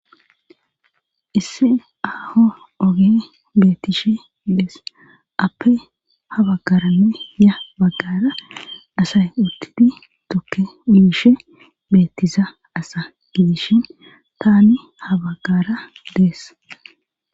isse aaho oge bettishe dees appe habaggarane ya baggara asay uttidi tokke uishe beettiza asa gidishin tani habaggara dees